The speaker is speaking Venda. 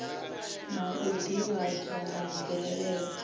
na u ḓivhadzwa ha mvelelo